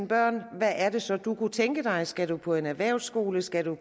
børn hvad er det så du kunne tænke dig skal du på en erhvervsskole skal du